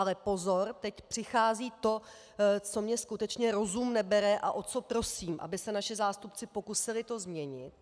Ale pozor, teď přichází to, co mně skutečně rozum nebere a o co prosím, aby se naši zástupci pokusili to změnit.